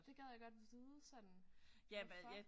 Det gad jeg godt vide sådan hvorfor